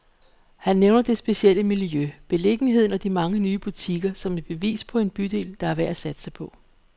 Han nævner det specielle miljø, beliggenheden og de mange nye butikker, som et bevis på en bydel, der er værd at satse på.